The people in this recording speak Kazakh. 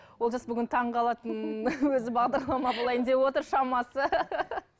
олжас бүгін таңғалатын өзі бағдарлама болайын деп отыр шамасы